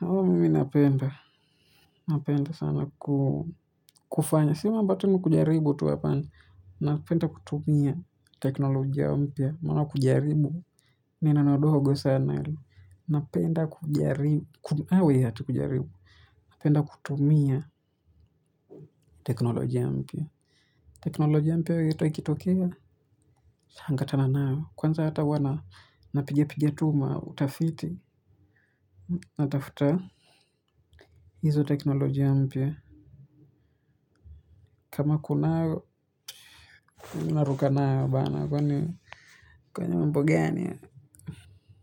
Huwa mimi napenda. Napenda sana kufanya. Si mambo tu na kujaribu tu hapana. Napenda kutumia teknolojia mpya. Mbona kujaribu. Ni neno ndogo sana ile. Napenda kujaribu aah eti kujaribu. Napenda kutumia teknolojia mpya. Teknolojia mpya yoyote ikitokea. Changamka nayo. Kwanza huwa tu napigapiga tu mautafiti. Natafuta hizo teknolojia mpya kama kunayo naruka nayo bana kwani mambo gani haya.